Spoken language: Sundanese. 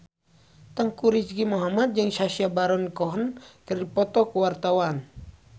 Teuku Rizky Muhammad jeung Sacha Baron Cohen keur dipoto ku wartawan